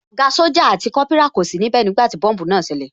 Ògá sójà àti Kópírà kò sí níbẹ̀ nígbàtí tí bọ́mbùù náà ṣẹlẹ̀